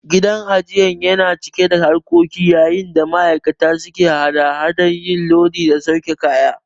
Gidan ajiyar yana cike da harkoki yayin da ma'aikata suke hada hadar yin lodi da sauke kaya.